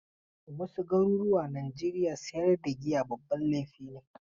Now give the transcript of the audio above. A wasu garuruwa Najeriya sayar da giya babban laifi ne.